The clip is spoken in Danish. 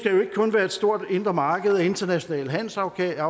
stort indre marked og internationale handelsaftaler